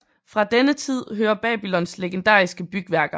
Fra denne tid hører Babylons legendariske bygværker